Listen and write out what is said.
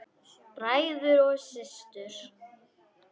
Bræður og systur!